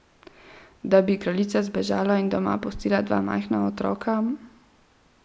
Da bi kraljica zbežala in doma pustila dva majhna otroka?